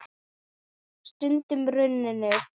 Stundin runnin upp!